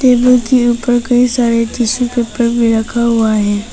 Table के ऊपर कई सारे टिश्यू पेपर भी रखा हुआ है।